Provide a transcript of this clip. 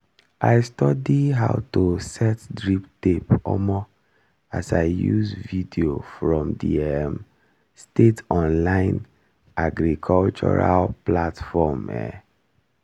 i study how to set drip tape omo as i use video from the um state online agricultural platform um